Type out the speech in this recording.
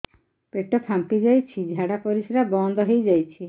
ପେଟ ଫାମ୍ପି ଯାଇଛି ଝାଡ଼ା ପରିସ୍ରା ବନ୍ଦ ହେଇଯାଇଛି